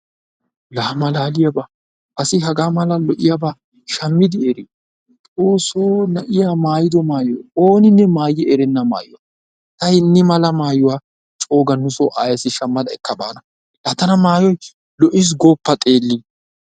Laa malaaliyaaba! asi hagaa mala lo'iyaaba shammidi erii xoossoo na'iyaa maayido maayoy ooninne maayi erennaa maayuwa ta hinni mala maayuwa cooga nusoo ayeessi shammada ekka baana laa tana mayoyi lo'iis gooppa xeellin.